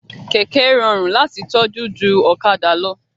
Kẹ̀kẹ́ rọrùn láti tọ́jú ju ọ̀kadà lọ